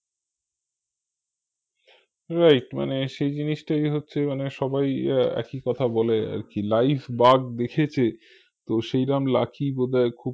right মানে সেই জিনিসটাই হচ্ছে মানে সবাই আহ একি কথা বলে আরকি live বাঘ দেখেছে তো সেইরাম lucky বোধয় খুব